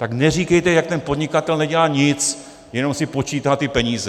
Tak neříkejte, jak ten podnikatel nedělá nic, jenom si počítá ty peníze.